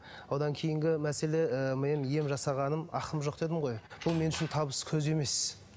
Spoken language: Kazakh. одан кейінгі мәселе ы менің ем жасағаным ақым жоқ дедім ғой бұл мен үшін табыс көзі емес